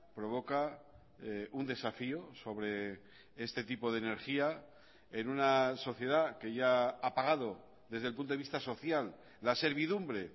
provoca un desafío sobre este tipo de energía en una sociedad que ya ha pagado desde el punto de vista social la servidumbre